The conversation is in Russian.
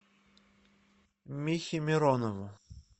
михе миронову